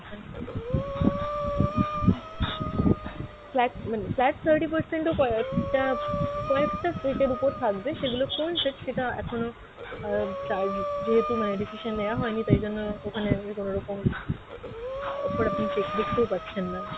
flat মানে flat thirty percent ও কয়েকটা, কয়েকটা set এর ওপর থাকবে সেগুলো কোন set সেটা এখনও আহ যেহেতু মানে decision নেওয়া হয়নি তাই জন্য ওখানে আমি কোনরকম offer আপনি check দেখতেও পাচ্ছেন না,